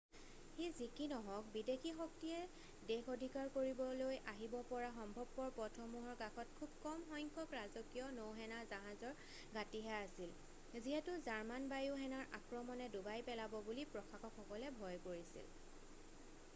সি যি কি নহওক বিদেশী শক্তিয়ে দেশ অধিকাৰ কৰিবলৈ আহিব পৰা সম্ভৱপৰ পথসমূহৰ কাষত খুব কম সংখ্যক ৰাজকীয় নৌসেনা জাহাজৰ ঘাটিহে আছিল যিহেতু জাৰ্মান বায়ু সেনাৰ আক্ৰমণে ডুবাই পেলাব বুলি প্ৰশাসকসকলে ভয় কৰিছিল